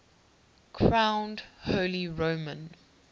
crowned holy roman